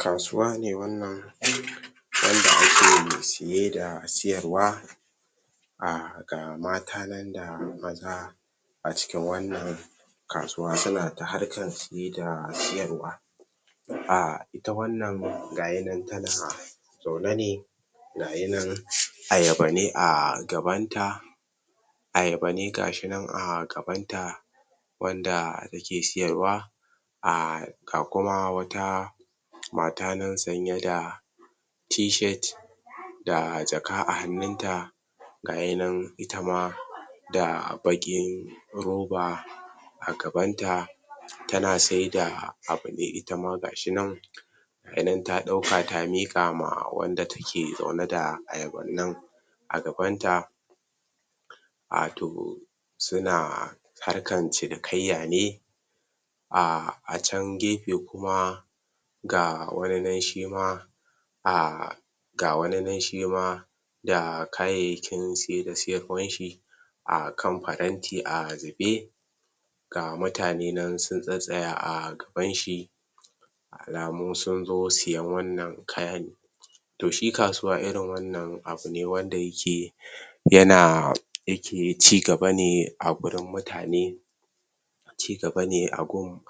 kasuwa ne wan nan wan da ake saye da sayarwa um ga mata nan da maza a cikin wan nan kasuwa ta na ta harkan saye da sayarwa um ita wan nan gashinan tana zaune ne ga shinan ayaba ne a gaban ta ayaba ne gashinan a gabanta wan da yake sayarwa um ga kuma wata mata nan sanye da T- shirt da jaka a hanun sa ga hinan itama da bakin roba a gaban ta ta na sai da abune itama gashinan ganin ta dauka ta mikama wanda take, dauke da ayaba nan a gaban ta um to suna harkan cinikaiyane a can gefe kuma ga wani nan shima um ga wani nan shima da kayaiyakin saye da sayarwanshi um kan faranti a zube ga muutane nan sun tsattsaya um gaban shi alaumun sun zo sayan wan nan kayane to shi kasuwa irin wan nan abune wanda yake yana yake ci gaba ne a gurin mutane ci gaba ne a gun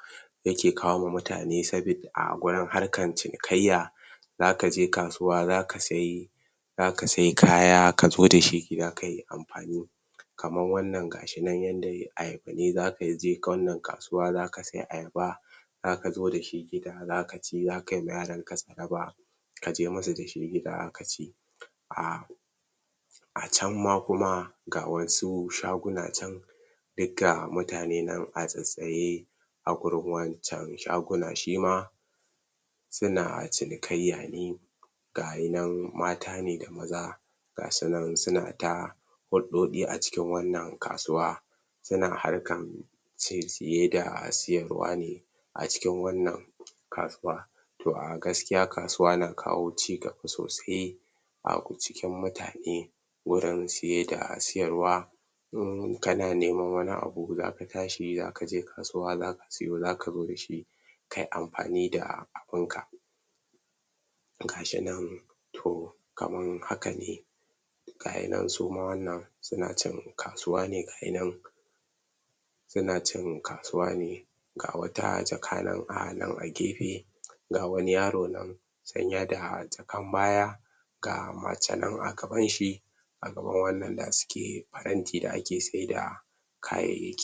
yake kawowa mutane sabeb, a wajen harkan cinikaiya zaka je kasuwa zaka sai zaka sai kaya ka zo dashi gida kayi anfani kaman wan nan gashinan, yan da, ayaba ne zaka ye wan nan kasuwan zaka sai ayaba zaka zo dashi gida zaka ci, zaka ma yaran ka tsaraba ka je musu dashi gida kaci um a can ma kuma ga wasu shaguna chan duk ga mutane nan a tsattsaye a gurin wan can shagunan shima suna cinikaiya ne ga shinan mata ne da maza ga sunan su na ta huddodi a cikin wan nan kasuwa suna harkan ciye ciye da sayarwane a cikin wan nan kasuwa um gaskiya kasuwa na kawo ci gaba sosai a cikin mutane wurin saye da sayarwa in kana neman wani abu zaka tashi zaka je kasuwa zaka sayo zaka zo dashi kai anfani da abun ka ga shi nan to kaman hana ne gashi nan suma wan nan suna chan kasuwa ne gashinan suna cin kasuwane ga wata jaka nan a nan a gefe ga wani yaro nan sanye da jakan baya ga mace nan a gaban shi a gaban wan nan da suke faranti da a ke sai da kayay